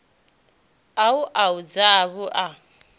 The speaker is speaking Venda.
a u a zwavhu i